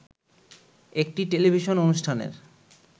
একটি টেলিভিশন অনুষ্ঠানের